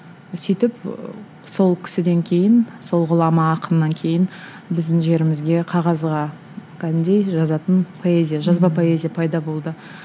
сөйтіп сол кісіден кейін сол ғұлама ақыннан кейін біздің жерімізге қағазға кәдімгідей жазатын поэзия жазба поэзия пайда болды